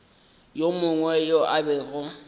yo mongwe yo a bego